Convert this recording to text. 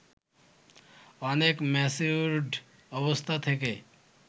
অনেক ম্যাচিউরড অবস্থা থেকে